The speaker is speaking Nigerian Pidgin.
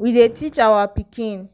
we dey teach our pikin